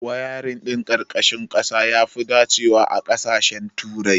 Wayarin ɗin ƙarƙashin ƙasa yafi dacewa a ƙasashen turai.